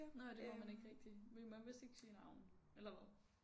Nåh ja det må man ikke rigtig vi må vist ikke sige navne. Eller hvad?